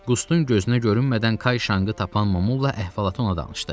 Qustun gözünə görünmədən Kay Şanqı tapan Mamula əhvalatı ona danışdı.